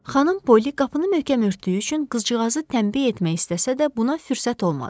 Xanım Poli qapını möhkəm örtdüyü üçün qızcığazı tənbeh etmək istəsə də, buna fürsət olmadı.